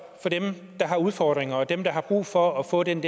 for dem der har udfordringer og dem der har brug for at få den